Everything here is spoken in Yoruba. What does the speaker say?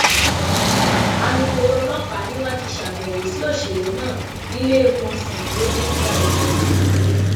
alūkkóró ọlọpàá ni wọn ti ṣàbẹwò sí òṣèré náà níléemọsán tó ti ń gba ìtọjú